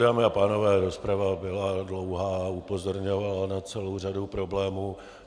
Dámy a pánové, rozprava byla dlouhá, upozorňovala na celou řadu problémů.